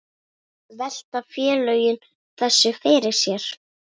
Velta félögin þessu fyrir sér?